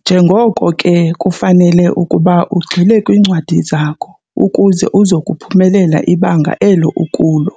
Njengoko ke kufanele ukuba ugxile kwiincwadi zakho ukuze uzophumelela ibanga elo ukulo.